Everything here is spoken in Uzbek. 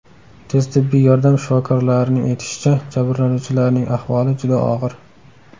Tez tibbiy yordam shifokorlarining aytishicha, jabrlanuvchilarning ahvoli juda og‘ir.